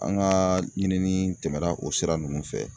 An ka ɲinini tɛmɛna o sira ninnu fɛ